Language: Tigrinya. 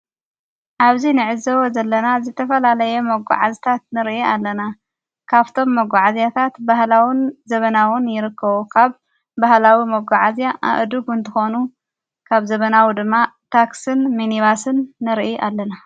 ኣብዚ ንዕዘዎ ዘለና ዝተፈላለየ መጕዓዝታት ንርኢ ኣለና። ካብቶም መጕዓዚያታት ባህላዉን ዘበናውን ይርክዉ። ኻብ ባሃላዊ መጕዓእዚያ ኣእዱጕ እንትኾ፤ ካብ ዘበናዊ ድማ ታክስን ሚንባስን ንርኢ ኣለና።